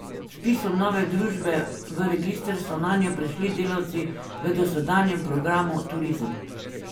Z vpisom nove družbe v register so nanjo prešli delavci v dosedanjem programu Turizem.